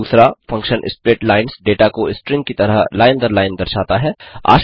2फंक्शन splitlines data को string की तरह लाइन दर लाइन दर्शाता है